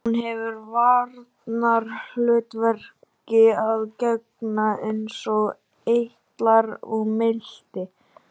Sumar nætur lék allt á reiðiskjálfi en annars ríkti grafarþögn.